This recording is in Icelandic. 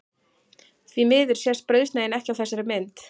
Því miður sést brauðsneiðin ekki á þessari mynd.